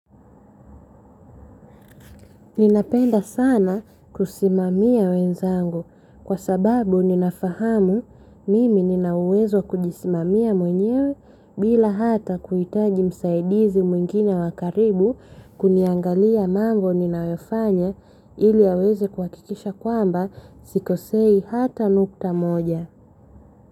Ninapenda sana kusimamia wenzangu kwa sababu ninafahamu mimi nina uwezo wa kujisimamia mwenyewe bila hata kuhitaji msaidizi mwingine wa karibu kuniangalia mambo ninayofanya, ili aweze kuhakikisha kwamba sikosei hata nukta moja.